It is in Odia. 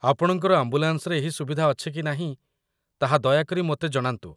ଆପଣଙ୍କର ଆମ୍ବୁଲାନ୍ସରେ ଏହି ସୁବିଧା ଅଛି କି ନାହିଁ ତାହା ଦୟାକରି ମୋତେ ଜଣାନ୍ତୁ।